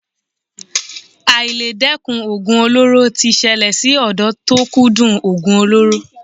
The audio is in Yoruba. Àìledẹ́kun oògùn olóró ti ṣẹlẹ̀ sí ọ̀dọ́ tó kúndùn oògùn olóró.